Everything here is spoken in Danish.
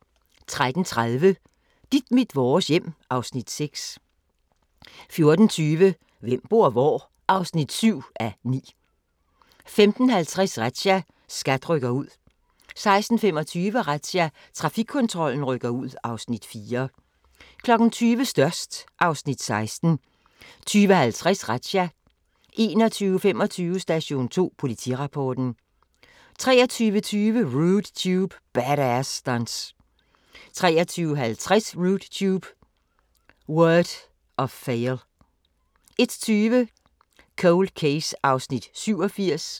13:30: Dit mit vores hjem (Afs. 6) 14:20: Hvem bor hvor? (7:9) 15:50: Razzia – SKAT rykker ud 16:25: Razzia – Trafikkontrollen rykker ud (Afs. 4) 20:00: Størst (Afs. 16) 20:50: Razzia 21:25: Station 2 Politirapporten 23:20: Rude Tube – Bad Ass Stunts 23:50: Rude Tube – World of Fail 01:20: Cold Case (87:156)